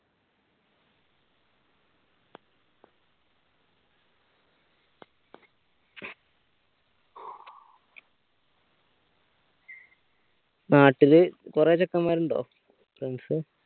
നാട്ടിൽ കൊറേ ചെക്കന്മാർ ഇണ്ടോ friends